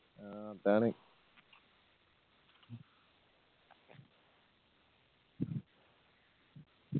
ആ അതാണ്